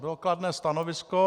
Bylo kladné stanovisko.